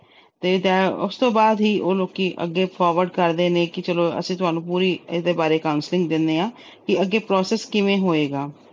ਤੇ ਉਸ ਤੋਂ ਬਾਅਦ ਹੀ ਉਹ ਲੋਕੀ ਅੱਗੇ forward ਕਰਦੇ ਨੇ ਕਿ ਚਲੋ ਅਸੀਂ ਤੁਹਾਨੂੰ ਇਹਦੇ ਬਾਰੇ ਪੂਰੀ counseling ਦਿੰਨੇ ਆ ਕਿ ਅੱਗੇ process ਕਿਵੇਂ ਹੋਏਗਾ।